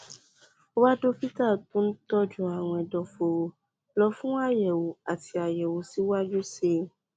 wá dókítà tó ń tọjú àrùn ẹdọfóró lọ fún àyẹwò àti àyẹwò síwájú sí i